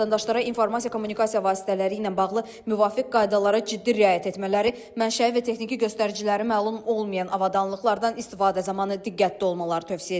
Vətəndaşlara informasiya kommunikasiya vasitələri ilə bağlı müvafiq qaydalara ciddi riayət etmələri, mənşəyi və texniki göstəriciləri məlum olmayan avadanlıqlardan istifadə zamanı diqqətli olmaları tövsiyə edilir.